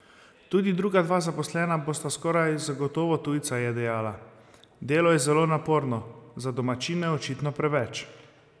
Tudi druga dva zaposlena bosta skoraj zagotovo tujca, je dejala: "Delo je zelo naporno, za domačine očitno preveč.